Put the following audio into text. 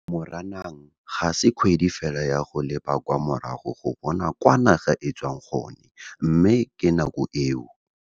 Moranang ga se kgwedi fela ya go leba kwa morago go bona kwa naga e tswang gone, mme ke nako eo.